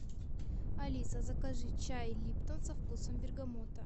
алиса закажи чай липтон со вкусом бергамота